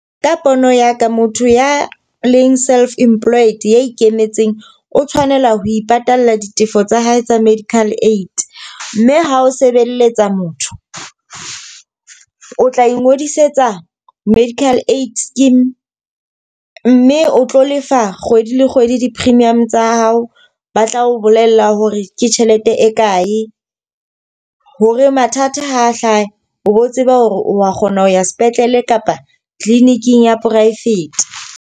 Ka pono ya ka, motho ya leng self employed ya ikemetseng, o tshwanela ho ipatalla ditefo tsa hae tsa medical aid. Mme ha o sebelletsa motho, o tla ingodisetsa medical aid scheme mme o tlo lefa kgwedi le kgwedi di-premium tsa hao. Ba tla o bolella hore ke tjhelete e kae, hore mathata ha a hlaha o bo tseba hore wa kgona ho ya sepetlele kapa clinic-ing ya private.